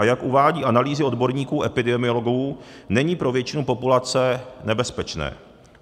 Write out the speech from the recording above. A jak uvádějí analýzy odborníků epidemiologů, není pro většinu populace nebezpečné.